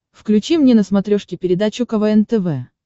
включи мне на смотрешке передачу квн тв